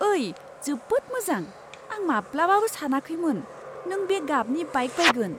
ओइ, जोबोद मोजां! आं माब्लाबाबो सानाखैमोन नों बे गाबनि बाइक बायगोन!